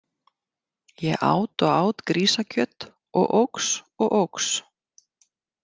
Ég át og át grísakjöt og óx og óx.